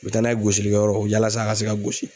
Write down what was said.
U bɛ taa n'a ye gosilikɛyɔrɔ yalasa a ka se ka gosi.